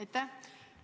Aitäh!